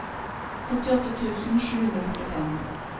åttiåtte tusen sju hundre og førtifem